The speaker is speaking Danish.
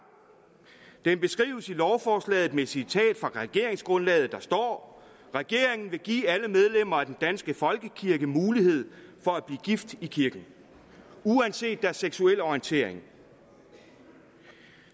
den beskrives i lovforslaget med et citat fra regeringsgrundlaget og der står regeringen vil give alle medlemmer af den danske folkekirke mulighed for at blive gift i kirken uanset deres seksuelle orientering